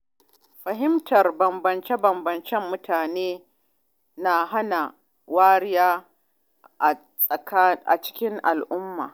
Fahimtar bambance-bambancen mutane na hana nuna wariya a cikin al’umma.